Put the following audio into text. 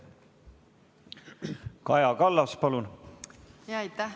Kaja Kallas, palun!